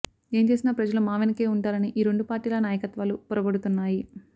ఏం చేసినా ప్రజలు మా వెనకే వుంటారని ఈ రెండు పార్టీల నాయకత్వాలు పొరబడుతున్నాయి